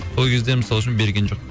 о кезде мысалы үшін берген жоқ